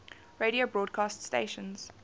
radio broadcast stations